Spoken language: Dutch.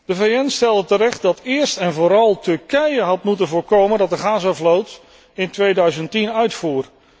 De VN stelde terecht dat eerst en vooral Turkije had moeten voorkomen dat de Gazavloot in 2010 uitvoer.